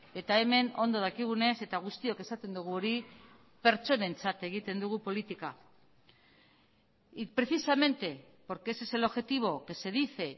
eta hemen ondo dakigunez eta guztiok esaten dugu hori pertsonentzat egiten dugu politika y precisamente porque ese es el objetivo que se dice